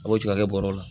A b'o tigɛ ka kɛ bɔrɛ la